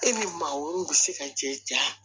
E ni maa wɛrɛw bi se ka cɛ ja